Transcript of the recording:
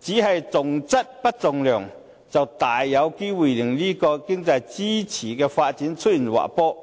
只重質不重量，就大有機會令此經濟支柱行業的發展出現滑坡。